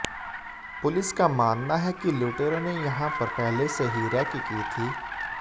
police का मानना है कि लुटेरों ने यहां पर पहले से ही रैकी की थी